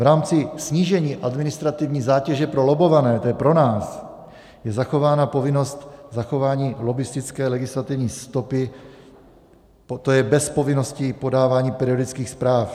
V rámci snížení administrativní zátěže pro lobbované, to je pro nás, je zachována povinnost zachování lobbistické legislativní stopy, to je bez povinnosti podávání periodických zpráv.